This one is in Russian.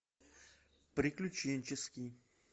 приключенческий